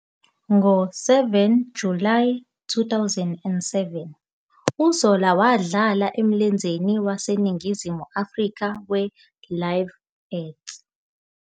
Ngo-7 Julayi 2007 uZola wadlala emlenzeni waseNingizimu Afrika we- Live Earth.